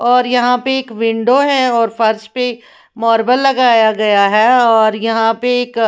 और यहाँ पे एक विंडो है और फर्श पे मार्बल लगाया गया है और यहाँ पे एक--